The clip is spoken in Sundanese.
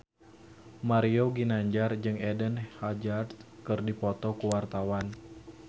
Mario Ginanjar jeung Eden Hazard keur dipoto ku wartawan